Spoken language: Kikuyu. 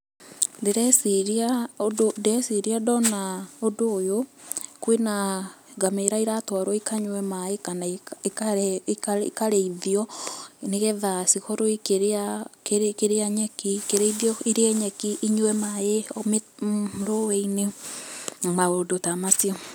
Ndĩreciria ũndũ, ndĩreciria ndona ũndũ ũyũ, kwĩna ngamĩra iratwarwo ikanyue maĩ, kana ikarĩithio, nĩgetha cikorwo ikĩrĩa, ikĩrĩa nyeki, ikĩrĩithio irĩe nyeki, inyue maĩ rũĩ-inĩ, maũndũ ta macio.